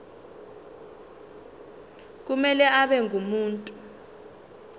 kumele abe ngumuntu